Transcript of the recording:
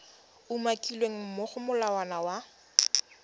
umakilweng mo go molawana wa